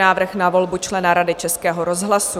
Návrh na volbu člena Rady Českého rozhlasu